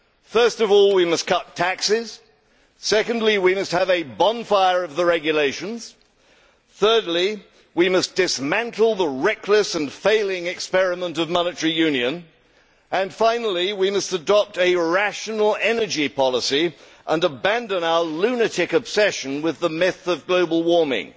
First of all, we must cut taxes, secondly, we must have a bonfire of the regulations, thirdly, we must dismantle the reckless and failing experiment of monetary union and, finally, we must adopt a rational energy policy and abandon our lunatic obsession with the myth of global warming.